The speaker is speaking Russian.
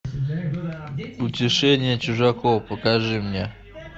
утешение чужаков покажи мне